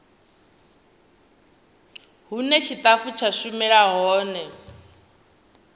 hune tshitafu tsha shumela hone